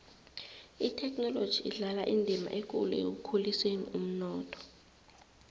ithekhinoloji idlala indima ekulu ekukhuliseni umnotho